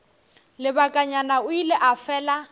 lebakanyana o ile a fela